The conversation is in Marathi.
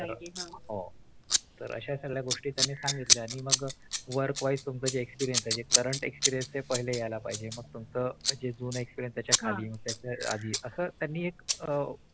पाहिजे हा. अश्या गोष्टी त्यांनी सांगितल्या आणि मग Work wise तुमचं Current experience पहिले यायला पाहिजे मग तुमचं जून Experience त्याच्या खाली त्याच्या आधी असं त्यांनी एक